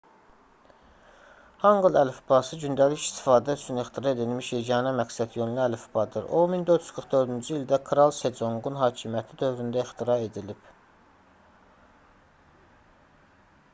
hanqıl əlifbası gündəlik istifadə üçün ixtira edilmiş yeganə məqsədyönlü əlifbadır. o 1444-cü ildə kral seconqun hakimiyyəti dövründə 1418-1450 ixtira edilib